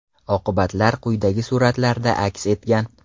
Oqibatlar quyidagi suratlarda aks etgan.